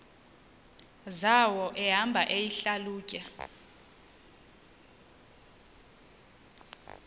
zawo ehamba eyihlalutya